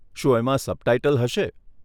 શું એમાં સબટાઈટલ હશે?